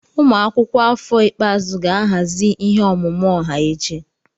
Ụmụ akwụkwọ afọ ikpeazụ ga-ahazi ihe ọmụma ọha echi.